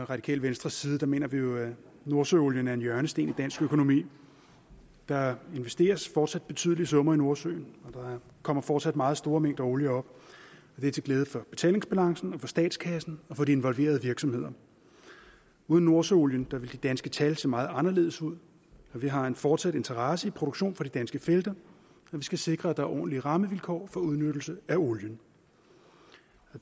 radikale venstres side mener vi jo at nordsøolien er en hjørnesten i dansk økonomi der investeres fortsat betydelige summer i nordsøen og der kommer fortsat meget store mængder olie op det er til glæde for betalingsbalancen for statskassen og for de involverede virksomheder uden nordsøolien ville de danske tal se meget anderledes ud og vi har en fortsat interesse i produktion fra de danske felter og vi skal sikre at der er ordentlige rammevilkår for udnyttelsen af olien